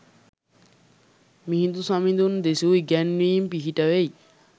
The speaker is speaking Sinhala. මිහිඳු සමිඳුන් දෙසූ ඉගැන්වීම් පිහිටවෙයි.